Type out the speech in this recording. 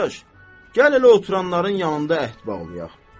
Qardaş, gəl elə oturanların yanında əhd bağlayaq.